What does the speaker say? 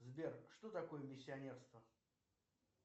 сбер что такое миссионерство